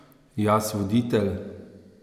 Jaz voditelj?